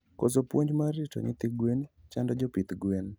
Koso puonj mar rito nyithi gwen chando jopidh gwen